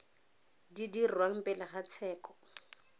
di dirwang pele ga tsheko